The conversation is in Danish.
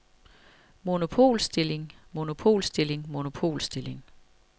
monopolstilling monopolstilling monopolstilling